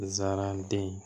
Zaraden